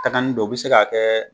Ta kani don, o bɛ se k'a kɛ